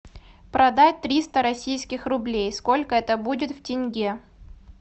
продать триста российских рублей сколько это будет в тенге